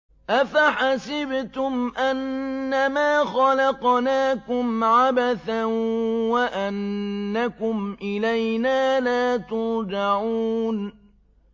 أَفَحَسِبْتُمْ أَنَّمَا خَلَقْنَاكُمْ عَبَثًا وَأَنَّكُمْ إِلَيْنَا لَا تُرْجَعُونَ